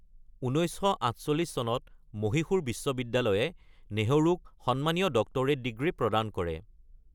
১৯৪৮ চনত মহীশূৰ বিশ্ববিদ্যালয়ে নেহৰুক সন্মানীয় ডক্টৰেট ডিগ্ৰী প্ৰদান কৰে।